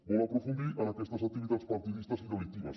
vol aprofundir en aquestes activitats partidistes i delictives